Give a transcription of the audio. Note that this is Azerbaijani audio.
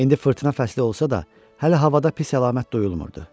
İndi fırtına fəsli olsa da, hələ havada pis əlamət duyulmurdu.